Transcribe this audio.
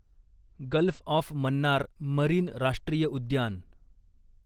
gulf of Mannar marine राष्ट्रीय उद्यान